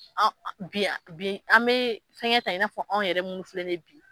An bi bi an me fɛngɛ ta i n'a fɔ anw yɛrɛ mun filɛ nin ye bi